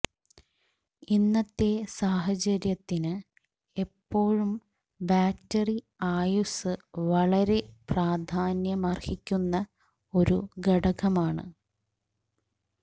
ഇന്നത്തെ സാഹചര്യത്തിന് എപ്പോഴും ബാറ്ററി ആയുസ്സ് വളരെ പ്രാധാന്യമർഹിക്കുന്ന ഒരു ഘടകമാണ്